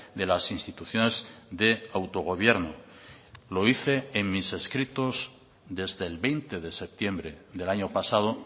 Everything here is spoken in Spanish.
de las instituciones de autogobierno lo hice en mis escritos desde el veinte de septiembre del año pasado